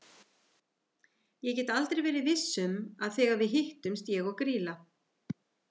Ég get aldrei verið viss um að þegar við hittumst ég og Grýla.